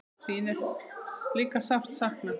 Þín er líka sárt saknað.